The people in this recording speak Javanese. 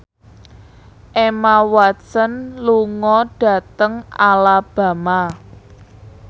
Emma Watson lunga dhateng Alabama